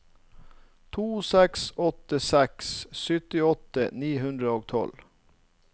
to seks åtte seks syttiåtte ni hundre og tolv